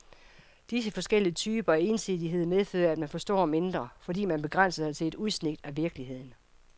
Disse forskellige typer af ensidighed medfører, at man forstår mindre, fordi man begrænser sig til udsnit af virkeligheden.